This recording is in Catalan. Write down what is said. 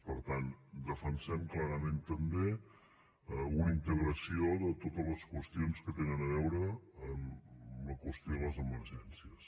per tant defensem clarament també una integració de totes les qüestions que tenen a veure amb la qüestió de les emergències